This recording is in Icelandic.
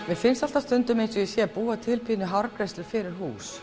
mér finnst stundum eins og ég sé að búa til hárgreiðslu fyrir hús